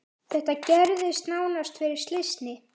Þetta gerðist nánast fyrir slysni.